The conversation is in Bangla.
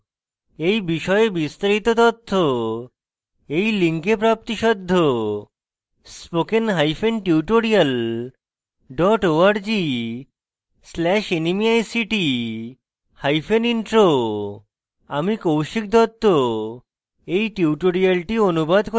এই বিষয়ে বিস্তারিত তথ্য এই link প্রাপ্তিসাধ্য